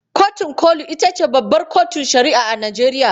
Kotun koli ita ce babbar kotun shari'a a Najeriya.